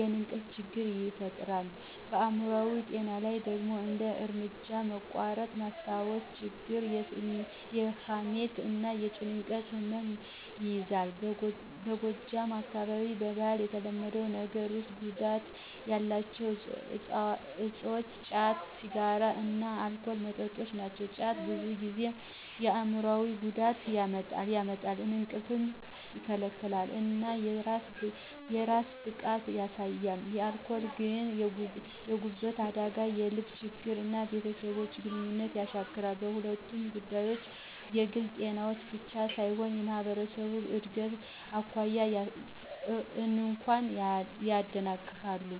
የእንቅልፍ ችግር ይፈጥራል። በአይምሮአዊ ጤና ላይ ደግሞ እንደ እርምጃ መቋረጥ፣ ማስታወስ ችግር፣ የሐሜት እና የጭንቀት ህመም ይያዛል። በጎጃም አካባቢ በባህል የተለመዱ ነገሮች ውስጥ ጉዳት ያላቸው እፆች ጫት፣ ሲጋራ እና አልኮል መጠጦች ናቸው። ጫት ብዙ ጊዜ የአይምሮአዊ ጉዳት ያመጣል፣ እንቅልፍ ይከለክላል እና የስራ ብቃትን ያሳንሳል። አልኮል ግን የጉበት አደጋ፣ የልብ ችግር እና የቤተሰብ ግንኙነት ያሻክራል። በሁለቱም ጉዳቶች የግል ጤናን ብቻ ሳይሆን የማህበረሰብን እድገት እንኳ ያደናቅፋሉ።